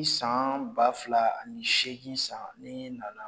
san ba fila ani seegin san ne nana.